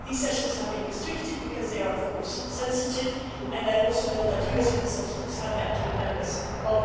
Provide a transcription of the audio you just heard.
These sessions have been restricted because they are, of course, sensitive. I know that US representatives have also met members of that committee.